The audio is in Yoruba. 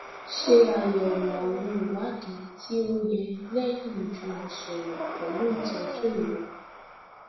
ṣe ayẹwo awọn iwadii ti o o yẹ lẹyin ijumọsọrọ pẹlu itọju rẹ